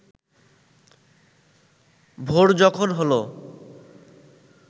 ভোর যখন হল